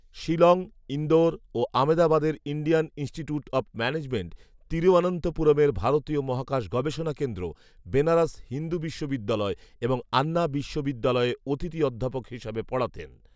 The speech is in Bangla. শিলং, ইন্দোর ও আমদাবাদের ইন্ডিয়ান ইনস্টিটিউট অব ম্যানেজমেন্ট, তিরুঅনন্তপুরমের ভারতীয় মহাকাশ গবেষণা কেন্দ্র, বেনারস হিন্দু বিশ্ববিদ্যালয় এবং আন্না বিশ্ববিদ্যালয়ে অতিথি অধ্যাপক হিসেবে পড়াতেন